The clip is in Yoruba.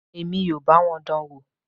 Èmi ò bá wọn dán an wò.